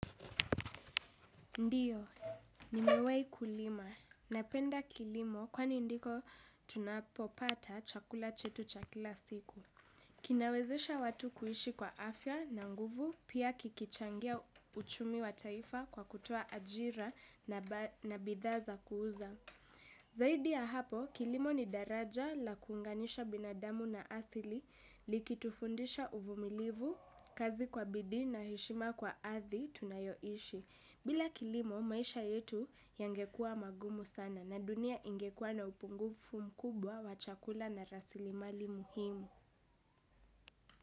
Ndiyo, nimewai kulima. Napenda kilimo kwani ndiko tunapopata chakula chetu chakila siku. Kinawezesha watu kuishi kwa afya na nguvu pia kikichangia uchumi wa taifa kwa kutoa ajira na bidha za kuuza. Zaidi ya hapo, kilimo ni daraja la kunganisha binadamu na asili likitufundisha uvumilivu, kazi kwa bidii na heshima kwa ardhi tunayoishi. Bila kilimo, maisha yetu yangekua mangumu sana na dunia ingekua na upungufu mkubwa wa chakula na rasilimali muhimu.